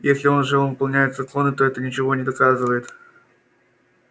если же он выполняет законы то это ничего не доказывает